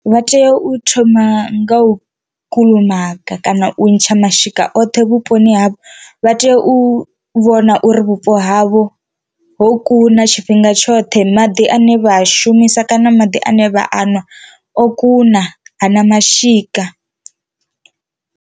Vha tea u thoma nga u kulumaga kana u ntsha mashika oṱhe vhuponi havho vha tea u vhona uri vhupo havho ho kuna tshifhinga tshoṱhe maḓi ane vha a shumisa kana maḓi ane vha anwa o kuna hana mashika.